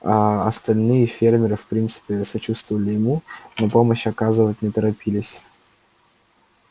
аа остальные фермеры в принципе сочувствовали ему но помощь оказывать не торопились